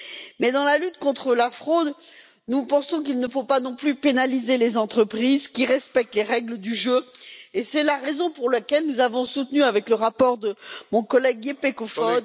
Mais dans la lutte contre la fraude, nous pensons qu'il ne faut pas non plus pénaliser les entreprises qui respectent les règles du jeu et c'est la raison pour laquelle nous avons soutenu, avec le rapport de mon collègue Jeppe Kofod